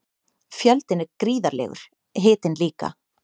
Fjöldinn er gríðarlegur, hitinn líka.